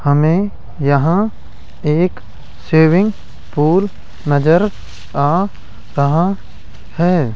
हमे यहाँ एक स्विमिंग पूल नजर आ रहा हैं।